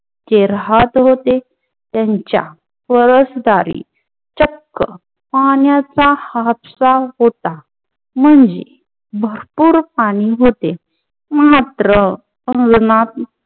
ते राहत होते, त्यांचा परस्दारी चक्क पान्याचा हात्सा होता. म्हंजे भरपूर पानी होते, मात्र उन्हात्न